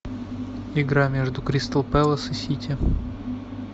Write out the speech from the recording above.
игра между кристал пэлас и сити